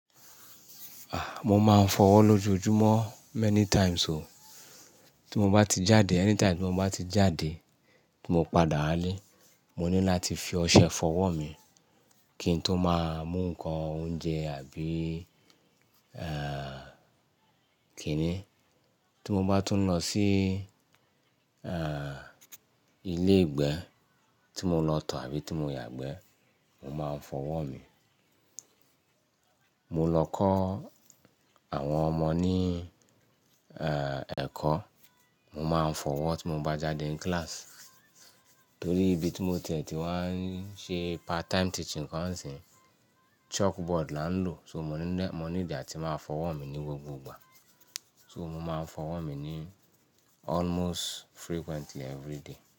Ah, mo máa ń fọwọ́ lójoojúmọ́ many times o. Tí mo bá ti jáde, anytime tí mo bá ti jáde, tí mo padà wálẹ́, mo ní láti fi ọṣẹ fọwọ́ mi kí n tó máa mú nǹkan oúnjẹ àbí, eh, kíni. Tí mo bá tún lọ sí, ilé ìgbé tí mo lọ tọ̀ àbí tí mo yàgbẹ́, mo máa ń fọwọ́ mi. Mo lọ kọ́ àwọn ọmọ ní, ẹ̀kọ́, mo máa ń fọwọ́ tí mo bá jáde nclass. Torí ibi tí mo ń ti ẹ̀ ti wá ń ṣe part time teaching gan sì, chalkboard là ń lò, so mo níle, mo need àti máa fọwọ́ mi ní gbogbo ìgbà. So mo máa ń fọwọ́ mi ní almost frequently every day.